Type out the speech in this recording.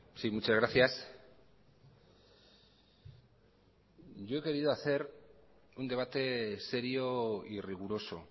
sí muchas gracias yo he querido hacer un debate serio y riguroso